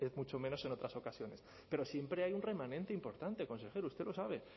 mucho menos en otras ocasiones pero siempre hay un remanente importante consejero usted lo sabe